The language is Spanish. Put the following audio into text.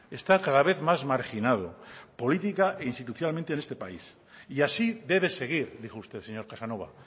está cada vez más marginado política e institucionalmente en este país y así debe seguir dijo usted señor casanova